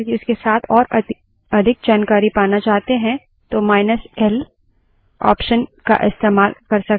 अगर हम file ही नहीं बल्कि उसके साथ और अधिक जानकारी पाना चाहते हैं तो माईनस l option का इस्तेमाल कर सकते हैं